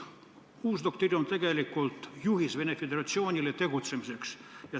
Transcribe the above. Uus doktriin on tegelikult Vene Föderatsiooni tegutsemise juhis.